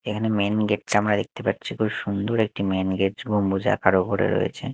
এখানে main gate -চা আমরা দেখতে পাচ্চি খুব সুন্দর একটি মেন গেট এবং মোজা কারো পরে রয়েছে।